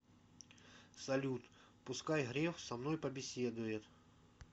салют пускай греф со мной побеседует